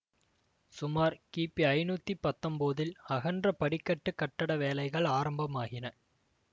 சுமார் கிபி ஐநூத்தி பத்தொம்போதில் அகன்ற படிக்கட்டு கட்டட வேலைகள் ஆரம்பமாகின